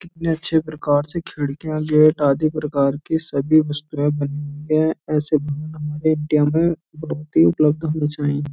कितने अच्छे प्रकार से खिड़कियां गेट आदि प्रकार के सभी वस्तुए बनी हुई है --